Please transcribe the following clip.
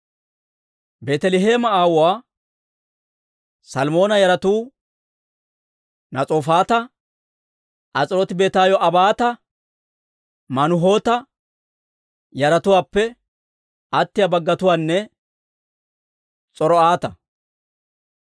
Beeteleheeme aawuwaa Salmoona yaratuu Nas'oofata, As'irooti-Beetayoo'aabata, Manuhoota yaratuwaappe attiyaa baggatuwaanne S'or"ata.